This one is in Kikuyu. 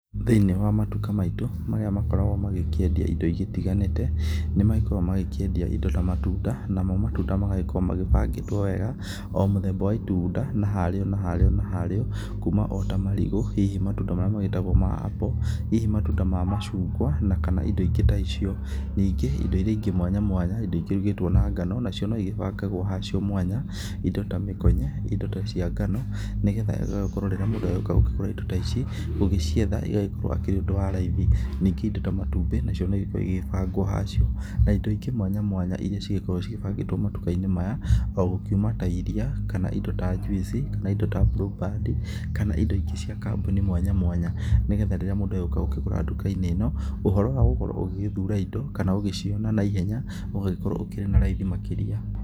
Thĩinĩ wa matuka maitũ marĩa magĩkoragwo magĩkĩendia indo itiganĩte, nĩ magĩkoragwo magĩkĩendia indo ta matunda. Namo matunda magagĩkorwo magĩbangĩtwo wega o mũthemba wa itunda na harĩo na hario na haríĩo. Kuma o ta marigũ hihi matunda nmarĩa magĩtagwo ma apple hihi matunda ma macungwa na kana indo ingĩ ta icio. Ningĩ indo iria ingĩ mwanya mwanya ikĩrugĩtwo na ngano nacio no igĩbangagwo hacio mwanya indo ta mĩkonye indo ta cia ngano, nĩ getha igagĩkorwo rĩrĩa mũndũ agĩũka gũkĩgũra indo ta ici gũgĩcietha ũgagĩkorwo ũrĩ ũndũ wa raithi. Ningĩ indo ta matumbĩ nacio no igĩkoragwo igĩbangwo hacio na indo ingĩ mwanya mwanya iria cigĩkoragwo igĩbangĩtwo matuka-inĩ maya, o gũkiuma ta iria kana indo ta njuici kana indo ta blueband kana indo ingĩ cia kambuni mwanya mwanya. Nĩ getha rĩrĩa mũndu agĩũka gũkĩgũra nduka-inĩ ĩno ũhoro wa gũgikorwo ũgĩgĩthura indo kana ũgĩciona na ihenya ũgagĩkorwo ũkĩrĩ na raithi makĩria.